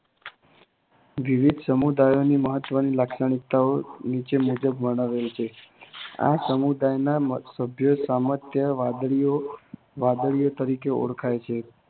વિવિધ સમુદાયોની મહતવની લાક્ષણિકતાઓ નીચે મુજબ વર્ણવેલ છે. આ સમુદાયના સામાન્યતઃ વાદળીઓ તરીકે ઓળખાય છે.